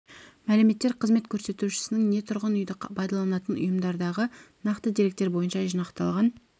мәліметтер қызмет көрсетушінің не тұрғын үйді пайдаланатын ұйымдардағы нақты деректер бойынша жинақталған